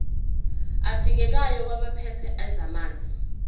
adingekayo kwabaphethe ezamanzi